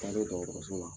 Taalen dɔgɔtɔrɔso la